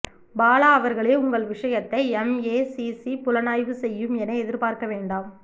பாலா அவர்களே உங்கள் விஷயத்தை எம்ஏசிசி புலனாய்வு செய்யும் என எதிர்பார்க்க வேண்டாம்